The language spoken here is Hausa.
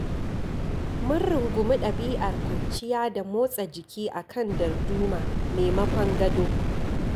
Mun rungumi ɗabi'ar kwanciya da motsa jiki a kan darduma maimakon gado.